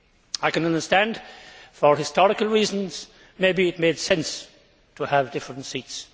I can understand that, for historical reasons, perhaps it made sense to have different seats.